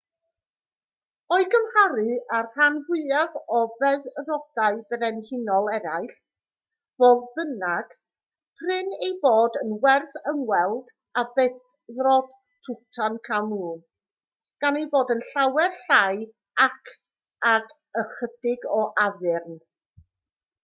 o'i gymharu â'r rhan fwyaf o feddrodau brenhinol eraill fodd bynnag prin ei bod yn werth ymweld â beddrod tutankhamun gan ei fod yn llawer llai ac ag ychydig o addurn